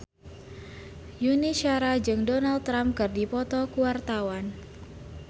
Yuni Shara jeung Donald Trump keur dipoto ku wartawan